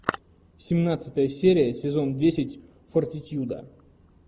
семнадцатая серия сезон десять фортитьюда